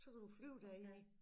Så kan du flyve derinde i